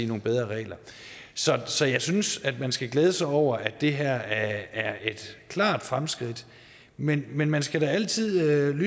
nogle bedre regler så jeg synes man skal glæde sig over at det her er et klart fremskridt men men man skal da altid